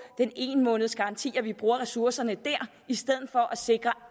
den ene måneds garanti at vi bruger ressourcerne der i stedet for at sikre